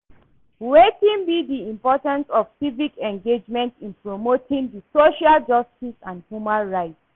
Wetin be di importance of civic engagement in promoting di social justice and human rights?